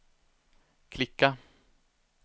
klicka